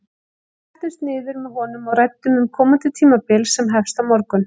Við settumst niður með honum og ræddum um komandi tímabil sem hefst á morgun.